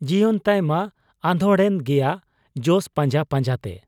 ᱡᱤᱭᱚᱱ ᱛᱟᱭᱢᱟ ᱟᱫᱷᱚᱲ ᱮᱱ ᱜᱮᱭᱟ ᱡᱚᱥ ᱯᱟᱸᱡᱟ ᱯᱟᱸᱡᱟᱛᱮ ᱾